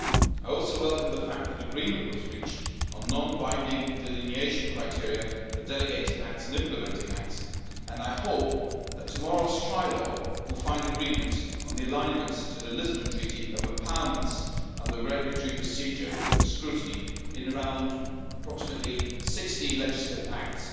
I also welcome the fact that agreement was reached on non binding delineation criteria for delegated acts and implementing acts, and I hope that tomorrow's trilogue will result in agreement on the alignment to the Lisbon Treaty of empowerments and the regulatory procedure with scrutiny in approximately 60 legislative acts.